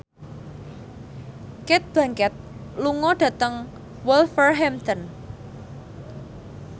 Cate Blanchett lunga dhateng Wolverhampton